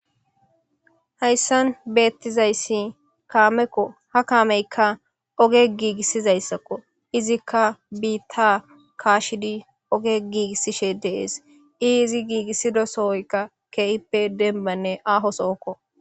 Hayssan bettizayssi caameko ha caameyikka ogge giigissizayssakko izzika biitta kashshiddi ogge giigisishshe de'ess izzi giigissiza sohoykka kehi dembbakko.